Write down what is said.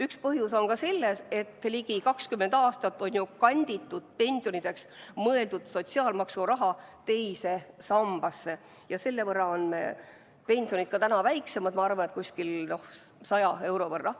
Üks põhjus on selles, et ligi 20 aastat on ju kanditud pensionideks mõeldud sotsiaalmaksuraha teise sambasse ja selle võrra on pensionid täna väiksemad, ma arvan, umbes100 euro võrra.